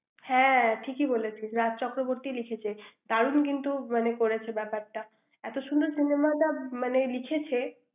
হ্যাঁ ঠিকই বলেছিস রাজ চক্রবর্তী লিখেছি দারুন কিন্তু মানে করেছে ব্যাপারটা এত সুন্দর cinema টা মানে লিখেছে ৷